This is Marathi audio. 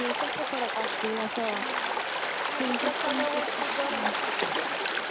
हम्म तिथल्या सगळ्या वस्तु गरमच असतात गं शक्यतो Kid Talking...